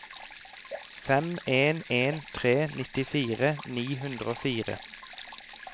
fem en en tre nittifire ni hundre og fire